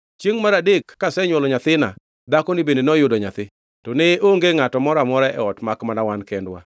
Chiengʼ mar adek kasenywolo nyathina, dhakoni bende noyudo nyathi. To ne onge ngʼato moro amora e ot makmana wan kendwa.